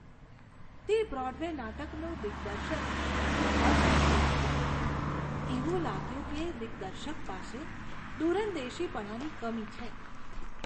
તે બ્રોડવે નાટકનું દિગ્દર્શન ખૂબ જ નબળું હતું. એવું લાગ્યું કે દિગ્દર્શક પાસે દૂરંદેશીપણાની કમી છે.